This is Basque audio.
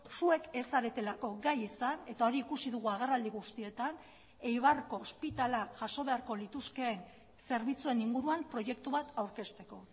zuek ez zaretelako gai izan eta hori ikusi dugu agerraldi guztietan eibarko ospitalea jaso beharko lituzkeen zerbitzuen inguruan proiektu bat aurkezteko